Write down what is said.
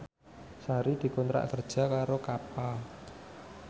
Sari dikontrak kerja karo Kappa